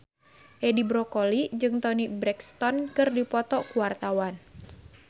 Edi Brokoli jeung Toni Brexton keur dipoto ku wartawan